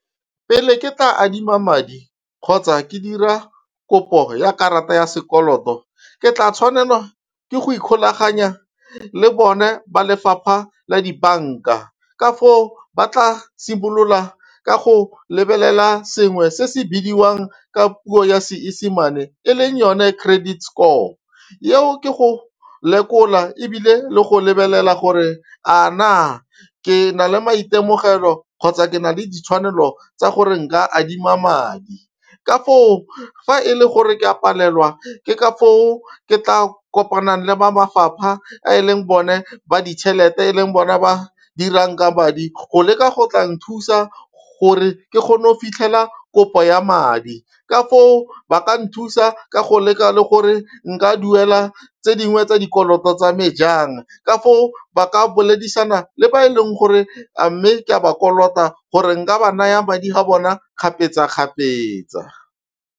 Pele ke tla adima madi kgotsa ke dira kopo ya karata ya sekoloto ke tla tshwanela ke go ikgolaganya le bone ba lefapha la dibanka ka foo ba tla simolola ka go lebelela sengwe se se bidiwang ka puo ya Seesemane e leng yone credit score eo ke go lekola ebile le go lebelela gore a na ke na le maitemogelo kgotsa ke na le ditshwanelo tsa gore nka adima madi. Ka foo, fa e le gore ke a palelwa ke ka foo ke tla kopanang le ba mafapha e leng bone ba ditšhelete e leng bona ba dirang ka madi go leka go tla nthusa gore ke kgone go fitlhela kopo ya madi ka foo ba ka nthusa ka go leka le gore nka duela tse dingwe tsa dikoloto tsa me jang. Ka foo ba ka boledisana le ba e leng gore a mme ke a ba kolota gore nka ba naya madi a bona kgapetsa-kgapetsa.